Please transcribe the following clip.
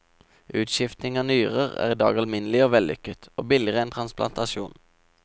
Utskifting av nyrer er i dag alminnelig og vellykket, og billigere enn transplantasjon.